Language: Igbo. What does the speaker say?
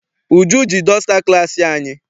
Uju ji dọsta class anyị.